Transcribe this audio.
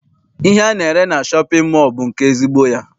Ihe ana-ere na shọpịn mọọ bụ nke ezigbo ya.